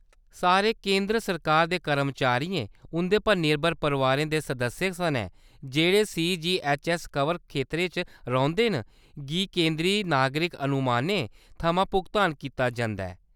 सारे केंदर सरकार दे कर्मचारियें, उंʼदे पर निर्भर परोआर दे सदस्यें सनै, जेह्‌‌ड़े सीजीऐच्चऐस्स-कवर खेतरें च रौंह्‌‌‌दे न, गी केंदरी नागरिक अनुमानें थमां भुगतान कीता जंदा ऐ।